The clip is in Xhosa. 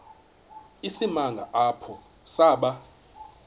isimanga apho saba